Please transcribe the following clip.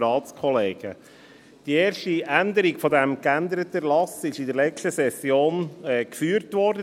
Die erste Änderung dieses geänderten Erlasses wurde in der letzten Session debattiert.